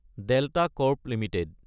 delta Corp Ltd